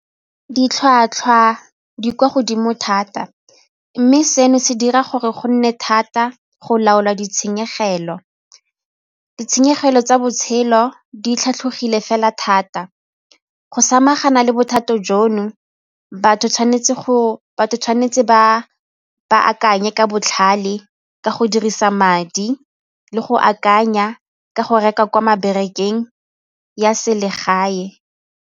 Ditlhwatlhwa di kwa godimo thata mme seno se dira gore go nne thata go laola ditshenyegelo. Ditshenyegelo tsa botshelo di tlhatlhogile fela thata, go samagana le bothata jono batho tshwanetse ba akanye ka botlhale ka go dirisa madi le go akanya ka go reka kwa ya selegae.